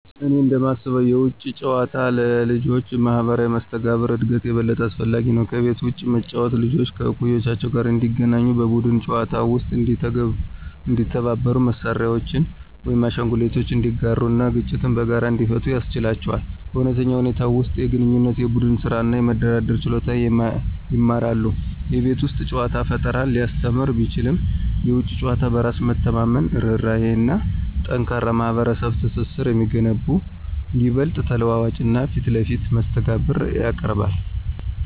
እኔ እንደማስበው የውጪ ጨዋታ ለልጆች ማህበራዊ መስተጋብር እድገት የበለጠ አስፈላጊ ነው። ከቤት ውጭ መጫወት ልጆች ከእኩዮቻቸው ጋር እንዲገናኙ, በቡድን ጨዋታዎች ውስጥ እንዲተባበሩ, መሳሪያዎችን ወይም አሻንጉሊቶችን እንዲጋሩ እና ግጭቶችን በጋራ እንዲፈቱ ያስችላቸዋል. በእውነተኛ ሁኔታዎች ውስጥ የግንኙነት፣ የቡድን ስራ እና የመደራደር ችሎታን ይማራሉ። የቤት ውስጥ ጨዋታ ፈጠራን ሊያስተምር ቢችልም፣ የውጪ ጨዋታ በራስ መተማመንን፣ ርህራሄን እና ጠንካራ ማህበራዊ ትስስርን የሚገነቡ ይበልጥ ተለዋዋጭ እና ፊት ለፊት መስተጋብር ያቀርባል።